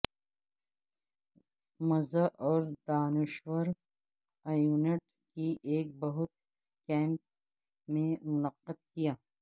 مزہ اور دانشور ایونٹ کی ایک بہت کیمپ میں منعقد کیا